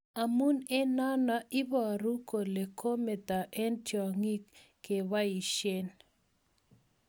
Amun eng nano, iparun kole ko mata eng tiakyik kepaishen.